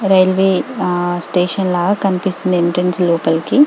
Railway station లాగ కనిపిస్తుంది entrance లోపలికి .